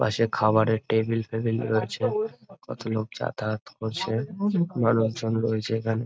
পাশে খাবারের টেবিল ফেবিল রয়েছে। কতলোক যাতায়ত করছে। মানুষ জন রয়েছে এখানে।